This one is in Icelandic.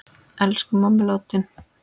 Elsku mamma er látin.